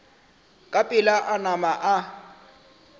ka pela a nama a